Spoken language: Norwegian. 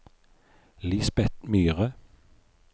Lisbet Myhre